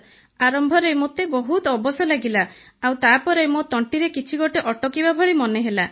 sir ଆରମ୍ଭରେ ମୋତେ ବହୁତ ଅବଶ ଲାଗିଲା ଆଉ ତାପରେ ମୋ ତଣ୍ଟିରେ କିଛି ଗୋଟେ ଅଟକିବା ଭଳି ମନେହେଲା